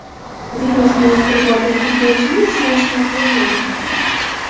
Virusni yuqtirib olgan futbolchining ismi oshkor qilinmagan.